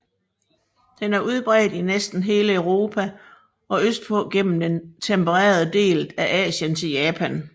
Den er udbredt i næsten hele Europa og østpå gennem den tempererede del af Asien til Japan